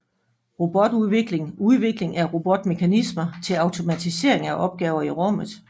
Robotudvikling Udvikling af robotmekanismer til automatisering af opgaver i rummet